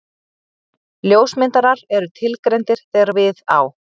Ljósmyndarar eru tilgreindir þegar við á.